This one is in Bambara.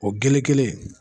O gele kelen